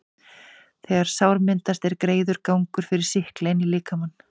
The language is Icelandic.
þegar sár myndast, er greiður gangur fyrir sýkla inn í líkamann.